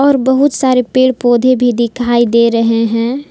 और बहुत सारे पेड़ पौधे भी दिखाई दे रहे हैं।